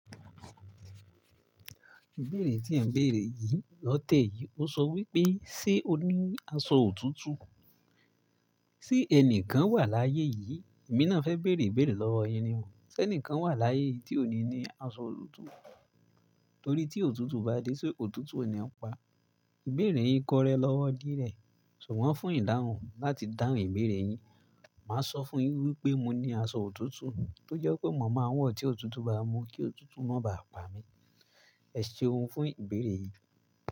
Ìbéèrè tí ẹ̀ ń béèrè yìí lọ́tẹ̀ yìí ó sọ wípé, "Ṣé o ní aṣọ òtútù?" Sé ẹnìkan wà láyé yìí, èmi náà fẹ́ bèèrè ìbéèrè lọ́wọ́ yín ni wò. Ṣé ẹnìkan wà láyé yìí tí ò ní ní aṣọ òtútù? Torí tí òtútù bá dé, só òtútù o ni pa. Ìbéèrè yín kọrẹ lọ́wọ́ dí rẹ, ṣùgbọ́n fún ìdáhùn láti dáhùn ìbéèrè yín, màá sọ fún un wípé mo ní aṣọ òtútù tó jẹ́ pé mọ̀ máa ń wọ̀ tí òtútù bá mú kí òtútù má bá pa mi. Ẹ ṣeun fún ìbéèrè yìí.